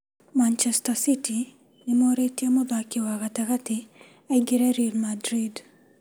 Machester City nĩmorĩtie mũthaki wa gatagatĩ aimgre Real Madrid